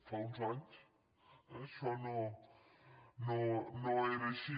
fa uns anys eh això no era així